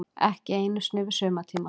Ekki einu sinni yfir sumartímann.